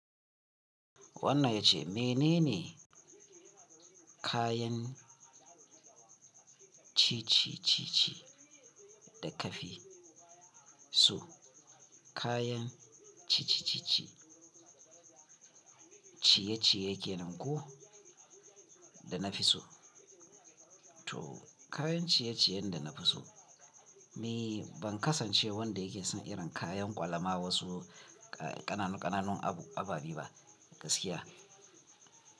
Wannan ya ce mene ne kayan ci ci ci ci da ka fi so kayan ci ci ci ci ciyeciye kenan ko da na fi so to kayan ciyeciyen da na fi so. Me ban kasance wanda yake son irin kayan kwalama wasu kananu-kananu ababi ba gaskiya.